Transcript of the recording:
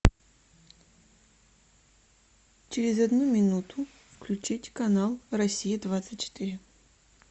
через одну минуту включить канал россия двадцать четыре